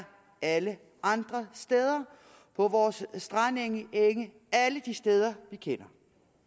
alle andre steder på vores strandenge og enge alle de steder vi kender